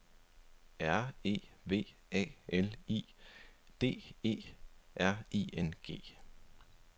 R E V A L I D E R I N G